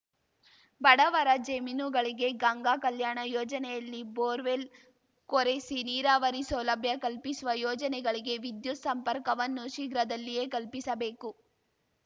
ಬಡವರ ಜಮೀನುಗಳಿಗೆ ಗಂಗಾ ಕಲ್ಯಾಣ ಯೋಜನೆಯಲ್ಲಿ ಬೋರ್‌ವೆಲ್‌ ಕೊರೆಸಿ ನೀರಾವರಿ ಸೌಲಭ್ಯ ಕಲ್ಪಿಸುವ ಯೋಜನೆಗಳಿಗೆ ವಿದ್ಯುತ್‌ ಸಂಪರ್ಕವನ್ನು ಶೀಘ್ರದಲ್ಲಿಯೇ ಕಲ್ಪಿಸಬೇಕು